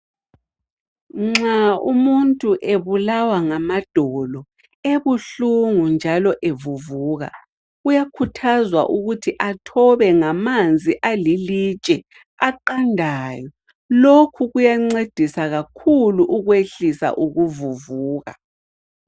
Nxa umuntu ebulawa ngamadolo, ebuhlungu njalo evuvuka uyakhuthazwa ukuthi athobe ngamanzi alilitshe aqandayo, lokho kuyancedisa kakhulu ukwehlisa ukuvuvuka.